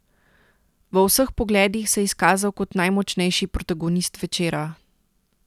V vseh pogledih se je izkazal kot najmočnejši protagonist večera.